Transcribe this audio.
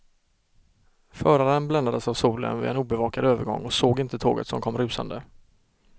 Föraren bländades av solen vid en obevakad övergång och såg inte tåget som kom rusande.